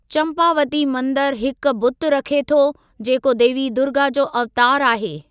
चम्पावती मंदरु हिकु बुत रखे थो जेको देवी दुर्गा जो अवतारु आहे।